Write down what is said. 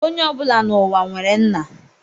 Onye ọbụla n'ụwa nwere nna